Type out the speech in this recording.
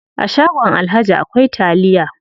A shagon alhaji akwai taliya.